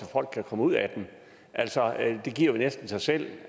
folk kan komme ud af den altså det giver vel næsten sig selv